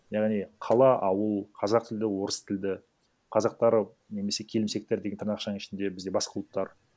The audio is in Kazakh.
яғни қала ауыл қазақ тілді орыс тілді қазақтар немесе келімсектер деген тырнақшаның ішінде бізде басқа ұлттар